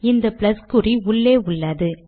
இந்த ப்ளஸ் குறி உள்ளே உள்ளது